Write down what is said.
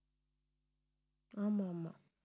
ஆமா ஆமா